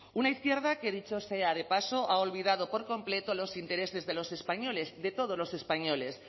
una izquierda que dicho sea de paso ha olvidado por completo los intereses de los españoles de todos los españoles